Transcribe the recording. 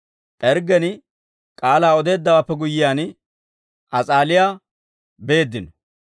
P'erggen k'aalaa odeeddawaappe guyyiyaan, As'aaliyaa beeddino.